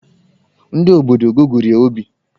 Ndị obodo gụgụrụ ya obi.